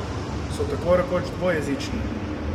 So tako rekoč dvojezični.